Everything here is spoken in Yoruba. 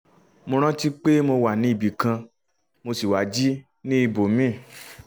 mo rántí pé mo wà ní ibì kan mo sì wá jí ní ibòmíì